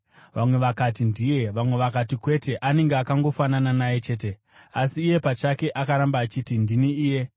Vamwe vakati, “Ndiye.” Vamwe vakati, “Kwete, anenge akangofanana naye chete.” Asi iye pachake akaramba achiti, “Ndini iye.”